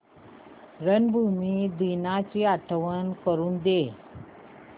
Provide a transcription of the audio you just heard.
रंगभूमी दिनाची आठवण करून दे